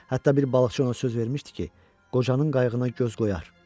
Hətta bir balıqçı ona söz vermişdi ki, qocanın qayığına göz qoyar.